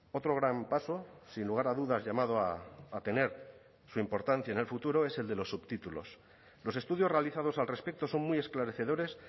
otro gran paso sin lugar a dudas llamado a tener su importancia en el futuro es el de los subtítulos los estudios realizados al respecto son muy esclarecedores